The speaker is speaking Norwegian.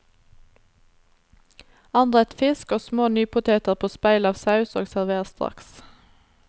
Anrett fisk og små nypoteter på speil av saus og server straks.